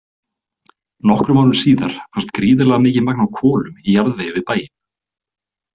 Nokkrum árum síðar fannst gríðarlega mikið magn af kolum í jarðvegi við bæinn.